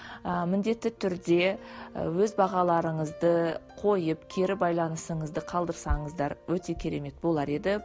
ыыы міндетті түрде ы өз бағаларыңызды қойып кері байланысыңызды қалдырсаңыздар өте керемет болар еді